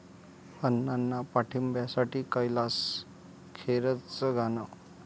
अण्णांना पाठिंब्यासाठी कैलास खेरचं गाणं